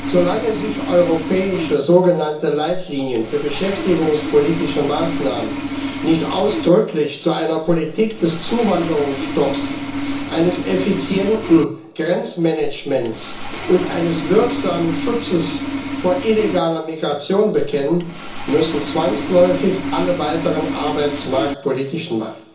Solange sich europäische sogenannte Leitlinien für beschäftigungspolitische Maßnahmen nicht ausdrücklich zu einer Politik des Zuwanderungsstopps, eines effizienten Grenzmanagements und eines wirksamen Schutzes vor illegaler Migration bekennen, müssen zwangsläufig alle weiteren arbeitsmarktpolitischen